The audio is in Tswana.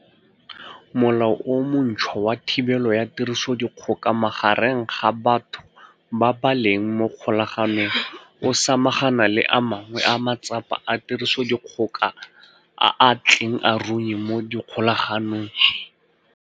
Molao o montšhwa wa Thibelo ya Tirisodikgoka Magareng ga Batho ba ba Leng mo Kgolaganong o samagana le a mangwe a matsapa a tirisodikgoka a a tleng a runye mo dikgolaganong.